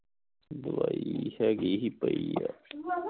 ਦਵਾਈ ਹੈਗੀ ਸੀ ਪਈ ਹੈ